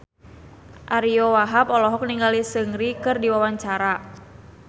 Ariyo Wahab olohok ningali Seungri keur diwawancara